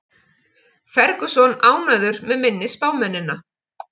Ferguson ánægður með minni spámennina